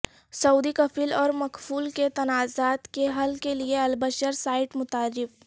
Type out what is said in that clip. سعودی کفیل اور مکفول کے تنازعات کے حل کیلئے البشر سائیٹ متعارف